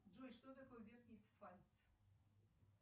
джой что такое верхний пфальц